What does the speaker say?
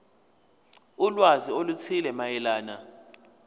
ulwazi oluthile mayelana